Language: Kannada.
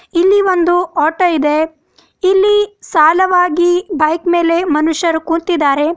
ಇಲ್ಲಿ ಒಂದು ಆಟೋ ಇದೆ ಇಲ್ಲಿ ಸಾಲವಾಗಿ ಬೈಕ್ ಮೇಲೆ ಮನುಷ್ಯರು ಕುಂತಿದಾರೆ.